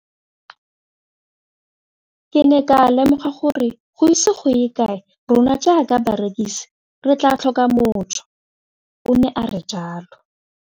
Ke ne ka lemoga gore go ise go ye kae rona jaaka barekise re tla tlhoka mojo, o ne a re jalo.